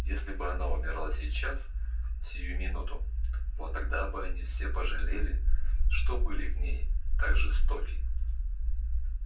если бы она умерла сейчас сию минуту вот тогда бы они все пожалели что были к ней так жестоки